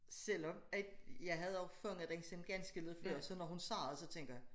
Selvom at jeg havde opfanget det sådan ganske lidt før så når hun sagde det så tænker jeg